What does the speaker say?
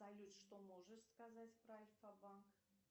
салют что можешь сказать про альфа банк